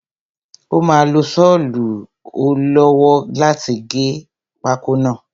Ó máa lo sọlu ọ lọ́wọ́ láti gé pákó náà.